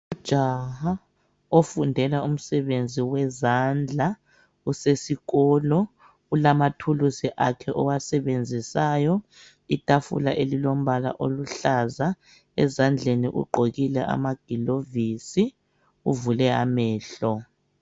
Ujaha ofundela umsebenzi wezandla usesikolo ulamathulusi akhe owasebenzisayo, itafula elilombala oluhlaza ezandleni ugqokile amagilovisi uvule amehlo.